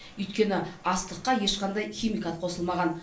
өйткені астыққа ешқандай химикат қосылмаған